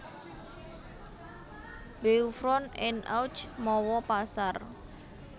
Beuvron en Auge mawa pasar